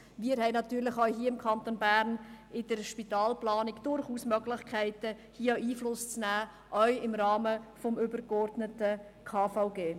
Wir haben in der Spitalplanung natürlich auch hier im Kanton Bern durchaus Möglichkeiten Einfluss zu nehmen – auch im Rahmen des übergeordneten KVG.